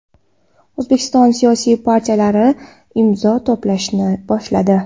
O‘zbekiston siyosiy partiyalari imzo to‘plashni boshladi.